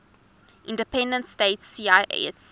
independent states cis